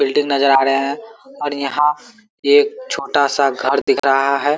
Building नजर आ रहे हैं और यहाँ एक छोटा सा घर दिख रहा है।